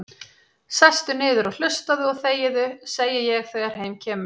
Sestu niður og hlustaðu og þegiðu, segi ég þegar heim kemur.